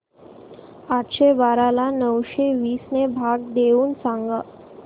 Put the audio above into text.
आठशे बारा ला नऊशे वीस ने भाग देऊन सांग